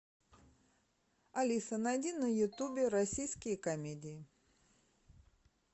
алиса найди на ютубе российские комедии